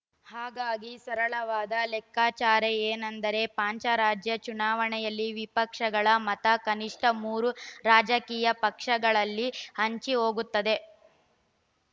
ಹಾಗಾಗಿ ಸರಳವಾದ ಲೆಕ್ಕಾಚಾರೆ ಏನೆಂದರೆ ಪಂಚ ರಾಜ್ಯ ಚುನಾವಣೆಯಲ್ಲಿ ವಿಪಕ್ಷಗಳ ಮತ ಕನಿಷ್ಠ ಮೂರು ರಾಜಕೀಯ ಪಕ್ಷಗಳಲ್ಲಿ ಹಂಚಿಹೋಗುತ್ತದೆ